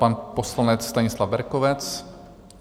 Pan poslanec Stanislav Berkovec.